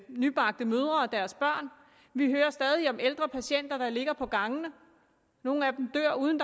nybagte mødre og deres børn vi hører stadig om ældre patienter der ligger på gangene nogle af dem dør uden